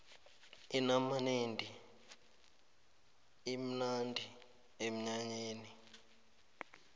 inamanedi imnandi emnyanyeni